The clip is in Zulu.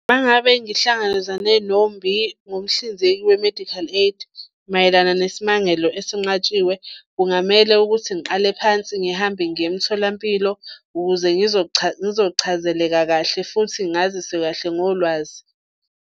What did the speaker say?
Uma ngabe ngihlangabezane nomhlinzeki we-medical aid mayelana nesimangalo esinqatshiwe, kungamele ukuthi ngiqale phansi ngihambe ngiye emtholampilo ukuze ngizochazeleka kahle futhi ngaziswe kahle ngolwazi.